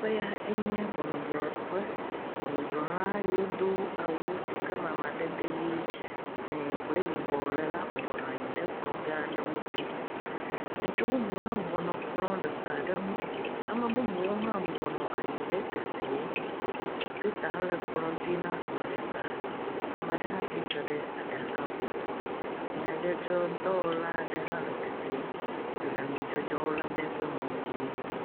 Teƒea nye ʋɔnudrɔƒe. Ʋɔnudrɔla yiwo do awu si amadede ɣi, dzɛ kple yibɔ le la, bɔbɔ nɔ anyi ɖe kplɔ gã aɖe ŋuti. Ŋutsuvi bubu hã bɔbɔ nɔ anyi ɖe kplɔ gã aɖe nu. Ame bubuwo hã nɔ anyi ɖe teƒea. Kɔmpitawo hã nɔ kplɔ dzi na ame ɖeka. Ame aɖe hã tsitre ɖe aɖaka gome. Nyadzɔdzɔ dɔwɔla aɖe hã le teƒea le nudzɔdzɔ lem ɖe woƒe mɔ wò dzi.